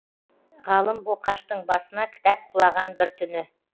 ғалым боқаштың басына кітап құлаған бір түні